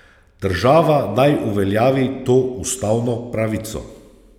Država naj uveljavi to ustavno pravico.